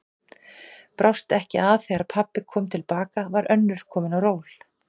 Brást ekki að þegar pabbi kom til baka var önnur komin á ról.